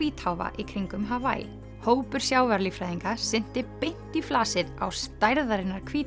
hvítháfa í kringum hópur sjávarlíffræðinga synti beint í flasið á stærðarinnar